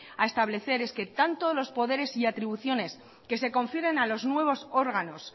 a establecer es que tanto los poderes y atribuciones que se confieran a los nuevos órganos